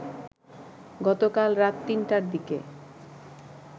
গতকাল রাত ৩টার দিকে